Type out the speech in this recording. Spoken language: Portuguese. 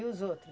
E os outro?